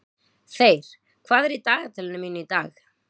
Þeyr, hvað er í dagatalinu mínu í dag?